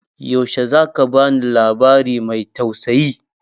Yaushe za ka ba ni labari mai tausayi?